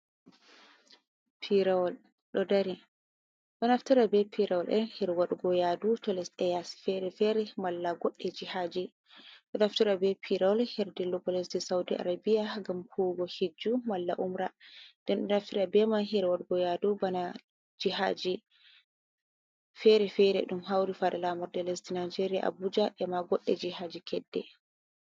Piirowal ɗo dari, ɗo naftira bee piirooɗe her waɗugo yaadu to lesɗe yaasi feere-feere malla goɗɗi jihaaji. Ɗo naftira bee piirowal her dillugo lesdi sawdi arabiya ngam huuwugo hijju malla umra, nden ɗon dnafira bee may her wadgo yaadu bana jihaaji feere-feere ɗum hawri far laamorde lesdi naageerya Abuja e ma goɗɗe jihaaji kedde.